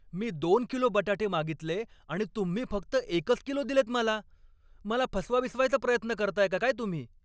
मी दोन किलो बटाटे मागितले आणि तुम्ही फक्त एकच किलो दिलेत मला! मला फसवा बिसवायचा प्रयत्न करताय का काय तुम्ही?